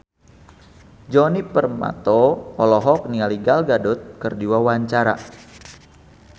Djoni Permato olohok ningali Gal Gadot keur diwawancara